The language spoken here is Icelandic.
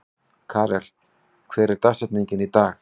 Karel, hver er dagsetningin í dag?